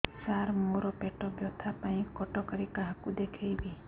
ସାର ମୋ ର ପେଟ ବ୍ୟଥା ପାଇଁ କଟକରେ କାହାକୁ ଦେଖେଇବି